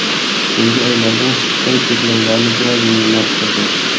So‘nggi oylarda Xitoy cheklovlarni biroz yengillashtirdi.